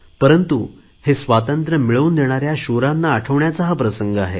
परंतु हे स्वातंत्र्य मिळवून देणाऱ्या शूरांचे स्मरण करण्याची वेळ आहे